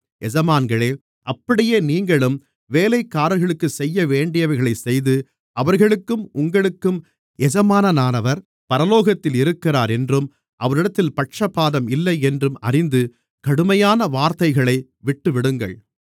எஜமான்களே அப்படியே நீங்களும் வேலைக்காரர்களுக்குச் செய்யவேண்டியவைகளைச் செய்து அவர்களுக்கும் உங்களுக்கும் எஜமானானவர் பரலோகத்தில் இருக்கிறார் என்றும் அவரிடத்தில் பட்சபாதம் இல்லை என்றும் அறிந்து கடுமையான வார்த்தைகளை விட்டுவிடுங்கள்